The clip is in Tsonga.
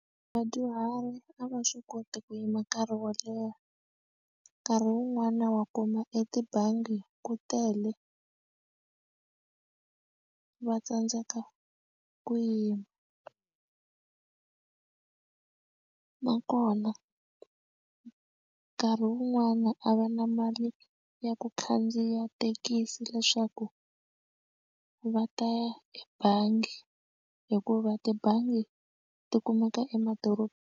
Vadyuhari a va swi koti ku yima nkarhi wo leha nkarhi wun'wana wa kuma etibangi ku tele va tsandzeka ku yima nakona nkarhi wun'wani a va na mali ya ku khandziya thekisi leswaku va ta ya ebangi hikuva tibangi ti kumeka .